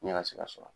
Ne ka se ka sɔrɔ